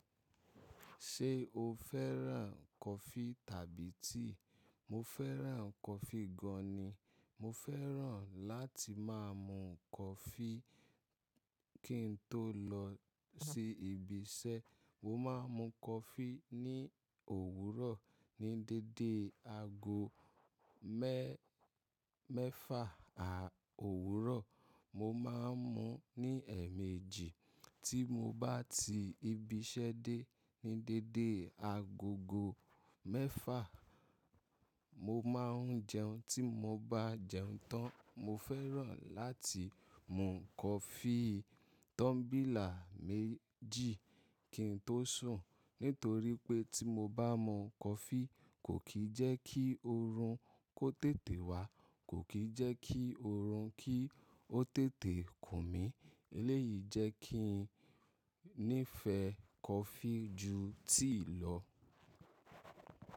Ṣé o fẹ́ràn coffee tàbí tea? Mo fẹ́ràn coffee gan ni. Mo fẹ́ràn láti máa mu coffee kí n tó lọ sí ibi iṣẹ́. Mo máa ń mu coffee ní òwúrọ̀ ní dédé aago mẹ́-mẹ́fa à owuro Mo máa ń mu ní ẹ̀ẹ̀mejì tí mo bá ti ibi iṣẹ́ dé. Ni dédé agogo mẹ́fa, mo máa ń jẹun. Tí mo bá jẹun tán, mo fẹ́ràn láti mu coffee tumbila méjì kí n tó sùn. Nítorí pé tí mo bá mu coffee kò kì í jẹ́ kí oorun kó tètè wá, kò kì í jẹ́ kí oorun kí ó tètè kù mí. Eléyìí jẹ́ kí n nífẹ̀ẹ́ coffee ju tea lọ.